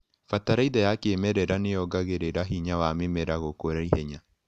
Bataraitha ya kĩmerera nĩyongagĩrĩra hinya wa mĩmera gũkũra ihenya.